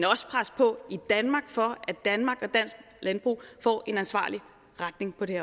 også presse på i danmark for at danmark og dansk landbrug får en ansvarlig retning på det